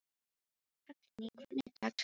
Hallný, hvernig er dagskráin?